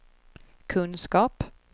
kunskap